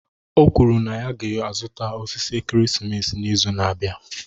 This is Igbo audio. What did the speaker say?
O kwuru na ya ga-azụta osisi ekeresimesi n'izu na-abịa